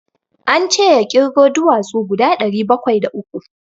An ce ya ƙirgo duwatsu guda ɗari bakwai da uku.